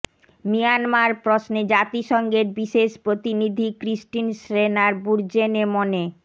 Myanmar প্রশ্নে জাতিসংঘের বিশেষ প্রতিনিধি ক্রিস্টিন শ্রেনার বুরজেনে মনে